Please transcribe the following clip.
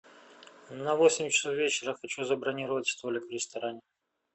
на восемь часов вечера хочу забронировать столик в ресторане